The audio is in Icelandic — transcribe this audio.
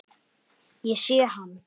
Ég sé hann